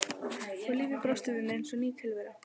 Og lífið brosti við mér eins og ný tilvera.